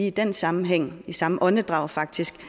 i den sammenhæng i samme åndedrag faktisk